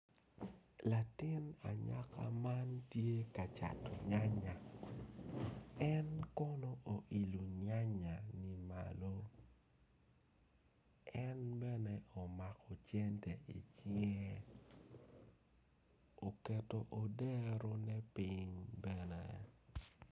Latin anyaka man tye ka cato nyanya en kono oilo nyanya ni malo en bene omako cente icinge oketo oderone piny bene.